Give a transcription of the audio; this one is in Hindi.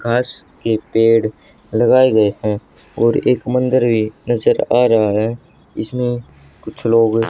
घास के पेड़ लगाए गए हैं और एक मंदिर भी नजर आ रहा है जिसमें कुछ लोग--